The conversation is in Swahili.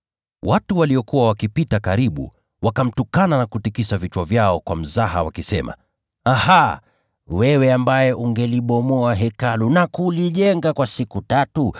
Watu waliokuwa wakipita njiani wakamtukana huku wakitikisa vichwa vyao na kusema, “Aha! Wewe ambaye utalivunja Hekalu na kulijenga kwa siku tatu,